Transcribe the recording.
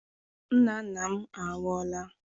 Nna nna m anwụọla.